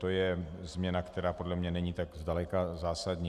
To je změna, která podle mne není tak zdaleka zásadní.